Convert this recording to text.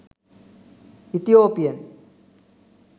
ethiopian